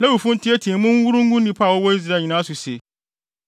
Lewifo nteɛteɛ mu nworo ngu nnipa a wɔwɔ Israel nyinaa so se: